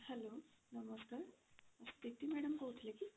hello ନମସ୍କାର ସ୍ଥିତି madam କହୁଥିଲେ କି?